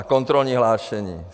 A kontrolní hlášení.